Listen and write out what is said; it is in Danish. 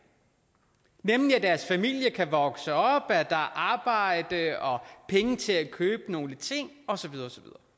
nemlig at deres familie kan vokse op at er arbejde og penge til at købe nogle ting og så videre